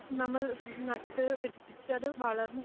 നമ്മൾ നട്ടു പിടിപ്പിച്ചത് വളർ